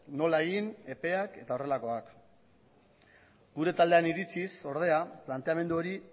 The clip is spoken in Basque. nola egin epeak eta horrelakoak gure taldearen iritziz ordea planteamendu hori